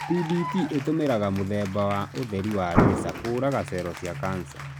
PDT ĩtũmĩraga mũthemba wa ũtheri wa laser kũraga cello cia cancer.